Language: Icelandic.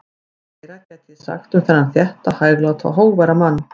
Margt fleira gæti ég sagt um þennan þétta, hægláta og hógværa mann.